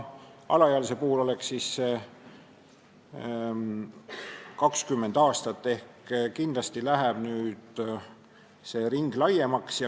Alaealise puhul oleks siis aeg 20 aastat ehk kindlasti läheb see ring laiemaks.